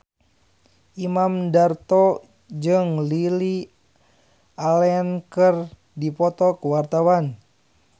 Imam Darto jeung Lily Allen keur dipoto ku wartawan